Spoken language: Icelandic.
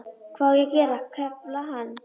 Hvað á ég að gera, kefla hana?